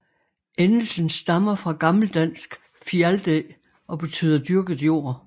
Endelsen stammer fra gammeldansk Fialdæ og beytder dyrket jord